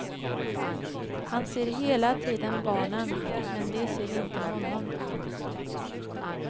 Han ser hela tiden barnen, men de ser inte honom.